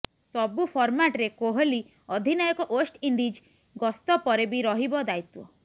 ସବୁ ଫର୍ମାଟରେ କୋହଲି ଅଧିନାୟକ ୱେଷ୍ଟଇଣ୍ଡିଜ୍ ଗସ୍ତ ପରେ ବି ରହିବ ଦାୟିତ୍ବ